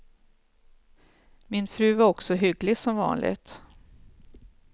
Min fru var också hygglig som vanligt.